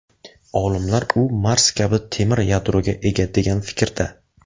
Olimlar u Mars kabi temir yadroga ega degan fikrda.